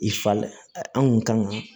I fa anw kun kan ka